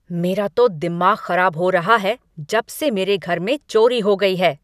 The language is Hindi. मेरा तो दिमाग खराब हो रहा है जब से मेरे घर में चोरी हो गई है।